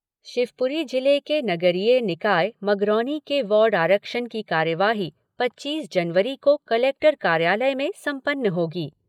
शिवपुरी जिले के नगरीय निकाय मगरौनी के वार्ड आरक्षण की कार्यवाही पच्चीस जनवरी को कलेक्टर कार्यालय में संपन्न होगी।